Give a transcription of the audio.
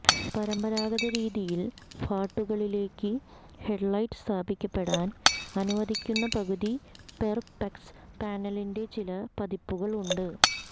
പരമ്പരാഗത രീതിയിൽ ഫാർട്ടുകളിലേക്ക് ഹെഡ്ലൈറ്റ് സ്ഥാപിക്കപ്പെടാൻ അനുവദിക്കുന്ന പകുതി പെർപെക്സ് പാനലിൻറെ ചില പതിപ്പുകൾ ഉണ്ട്